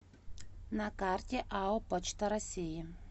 на карте ао почта россии